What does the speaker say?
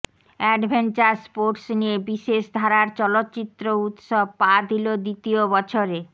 adventure sports নিয়ে বিশেষ ধারার চলচ্চিত্র উৎসব পা দিল দ্বিতীয় বছরে